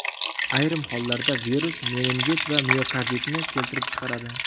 Ayrim hollarda virus meningit va miokarditni keltirib chiqaradi.